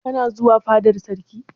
Kana zuwa fadar sarki?